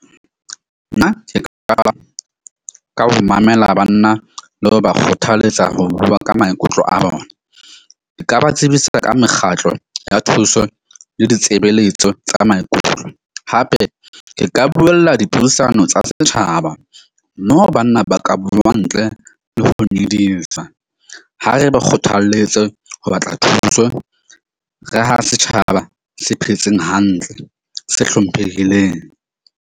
Nna ke ka qala ka ho mamela banna le ho ba kgothalletsa ho bua ka maikutlo a bona. E ka ba tsebisa ka mekgatlo ya thuso le ditsebeletso tsa maikutlo. Hape ke ka buela dipuisano tsa setjhaba. Moo banna ba ka bua ntle le ho nyedisa. Ha re ba kgothalletse ho batla thuso, re ha setjhaba se phetseng hantle, se hlomphehileng.